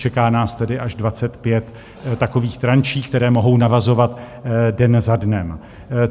Čeká nás tedy až 25 takových tranší, které mohou navazovat den za dnem.